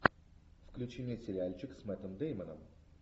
включи мне сериальчик с мэттом дэймоном